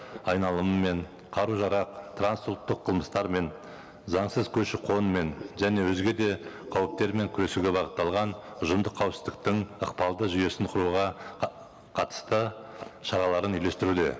айналымымен қару жарақ трансұлттық қылмыстармен заңсыз көші қонмен және өзге де қауіптермен күресуге бағытталған ұжымдық қауіпсіздіктің ықпалды жүйесін құруға қатысты шараларын үйлестіруде